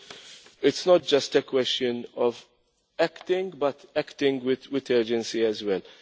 us. It is not just a question of acting but acting with urgency